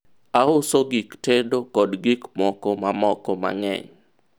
auso gk tedo kod gik moko mamoko mang'eny